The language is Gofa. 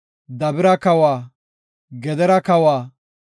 Dabira kawa, Gedera kawa,